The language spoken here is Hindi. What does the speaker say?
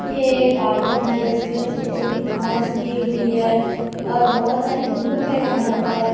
ये गार्डन है जिसमें छोटी-छोटी घांस उगी हुई है और बहुत सारी धूप है यहां पर।